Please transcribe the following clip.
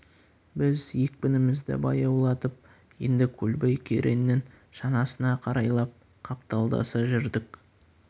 біз екпінімізді баяулатып енді көлбай кереңнің шанасына қарайлап қапталдаса жүрдік